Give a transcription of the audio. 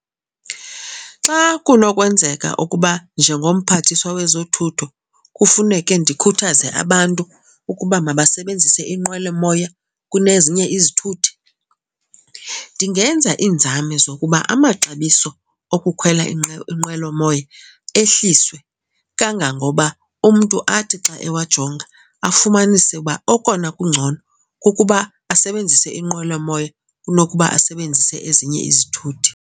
Xa kunokwenzeka ukuba njengomphathiswa wezothutho kufuneke ndikhuthaze abantu ukuba mabasebenzise inqwelomoya kunezinye izithuthi ndingenza iinzame zokuba amaxabiso okukhwela inqwelomoya ehliswe kangangoba umntu athi xa ewajonga afumanise uba okona kungcono kukuba asebenzise inqwelomoya kunokuba asebenzise ezinye izithuthi.